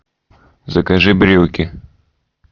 закажи брюки